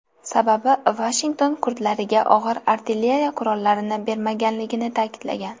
Sababi Vashington kurdlarga og‘ir artilleriya qurollarini bermaganligini ta’kidlagan.